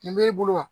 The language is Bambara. Nin b'e bolo wa